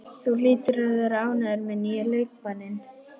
Þú hlýtur að vera ánægður með nýja leikmanninn?